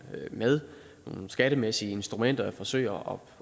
med nogle skattemæssige instrumenter forsøger